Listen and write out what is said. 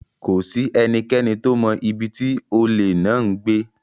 Kò sí ẹnikẹ́ni tó mọ ibi tí olè náà ń gbé.